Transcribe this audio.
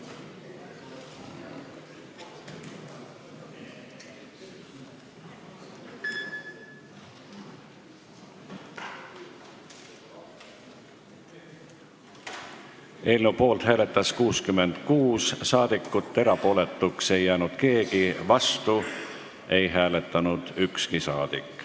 Hääletustulemused Eelnõu poolt hääletas 66 saadikut, erapooletuks ei jäänud keegi, vastu ei hääletanud ükski saadik.